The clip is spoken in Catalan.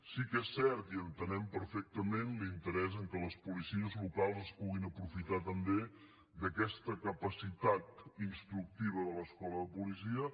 sí que és cert i entenem perfectament l’interès que les policies locals es puguin aprofitar també d’aquesta capacitat instructiva de l’escola de policia